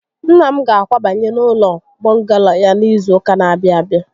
Nna m ga-akwabanye n'ụlọ bọngalo ya n'izu ụka n'abịa abịa